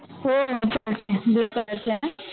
हो चालतंय